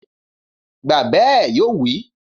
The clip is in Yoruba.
Gbàgbé ẹ̀! Yóò wí